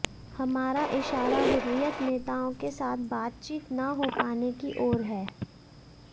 हमारा इशारा हुर्रियत नेताओं के साथ बातचीत न हो पाने की ओर है